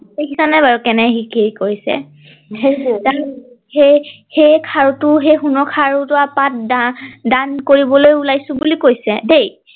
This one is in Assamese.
দেখিছা নাই বাৰু কেনেকে সি কি কৰিছে সেই সেই খাৰুটো সেই সোণৰ খাৰু টোৰ পাত দান কৰিবলৈ ওলাইছো বুলি কৈছে দেই